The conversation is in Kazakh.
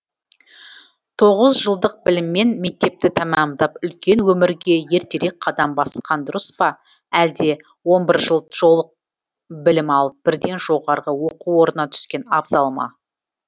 тоғыз жылдық біліммен мектепті тәмамдап үлкен өмірге ертерек қадам басқан дұрыс па алде он бір жыл жолық білім алып бірден жоғарғы оқу орнына түскен абзал ма